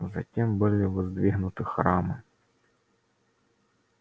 затем были воздвигнуты храмы